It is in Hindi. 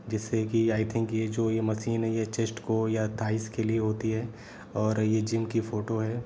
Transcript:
जैसे की आई थिंक ये जो ये मशीन है ये चेस्ट को या थाईस के लिए होती है ये जिम की फोटो है।